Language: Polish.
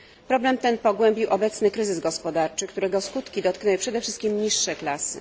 Problem ten pogłębił obecny kryzys gospodarczy, którego skutki dotknęły przede wszystkim niższe klasy.